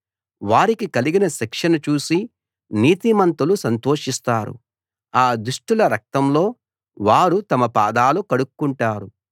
వారికి కలిగిన శిక్షను చూసి నీతిమంతులు సంతోషిస్తారు ఆ దుష్టుల రక్తంలో వారు తమ పాదాలు కడుక్కుంటారు